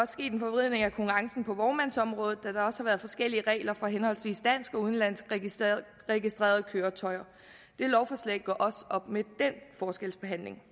sket en forvridning af konkurrencen på vognmandsområdet da der har været forskellige regler for henholdsvis dansk og udenlandsk registrerede registrerede køretøjer dette lovforslag gør også op med den forskelsbehandling